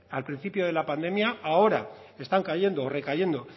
al principio de la pandemia ahora están cayendo o recayendo